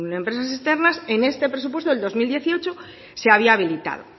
empresas externas en este presupuesto de dos mil dieciocho se había habilitado